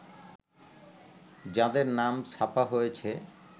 যাঁদের নাম ছাপা হয়েছে